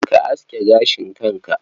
Ka aske gashin kanka.